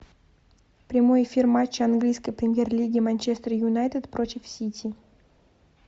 прямой эфир матча английской премьер лиги манчестер юнайтед против сити